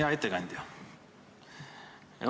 Hea ettekandja!